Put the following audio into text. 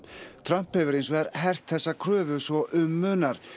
Trump hefur hins vegar hert þessa kröfu svo um munar